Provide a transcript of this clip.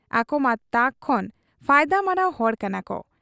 ᱟᱠᱚᱢᱟ ᱛᱟᱠ ᱠᱷᱚᱱ ᱯᱷᱟᱭᱫᱟ ᱢᱟᱨᱟᱣ ᱦᱚᱲ ᱠᱟᱱᱟᱠᱚ ᱾